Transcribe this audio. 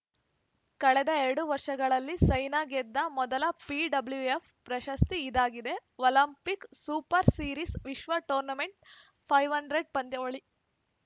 ಕಳೆದ ಎರಡು ವರ್ಷಗಳಲ್ಲಿ ಸೈನಾ ಗೆದ್ದ ಮೊದಲ ಬಿಡ್ಲ್ಯೂಎಫ್‌ ಪ್ರಶಸ್ತಿ ಇದಾಗಿದೆ ಒಲಿಂಪಿಕ್ಸ್‌ ಸೂಪರ್‌ ಸೀರೀಸ್‌ ವಿಶ್ವ ಟೂರ್‌ ಫೈ ಹನ್ ಡೆರ್ಡ್ ಪಂದ್ಯಾವಳಿ